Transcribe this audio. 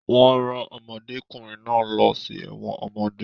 Wọ́n rán ọmọdékùnrin náà lọ sí ẹ̀wọ̀n ọmọdé